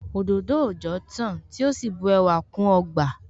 Òdòdó òòjọ́ tán tí ó sì bu ẹwà kún ọgbà